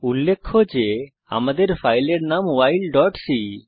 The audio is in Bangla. উল্লেখ্য যে আমাদের ফাইলের নাম whileসি